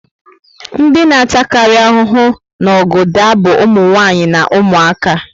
Ndị na ata kari ahụhụ na ọgụ daa bu umunwanyi na umuaka